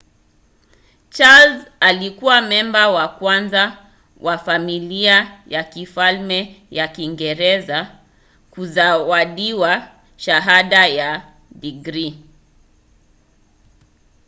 charles alikuwa memba wa kwanza wa familia ya kifalme ya kiingereza kuzawadiwa shahada ya digrii